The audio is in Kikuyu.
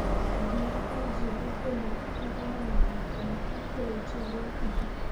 Athuri a njiarũa ĩmwe maheanaga madaraka kũrĩ njiarũa ingĩ.